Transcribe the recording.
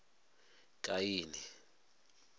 kaini